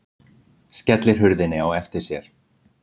Skellir hurðinni á eftir sér.